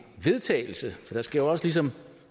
vedtagelse for der skal jo også ligesom